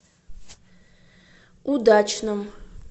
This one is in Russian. удачном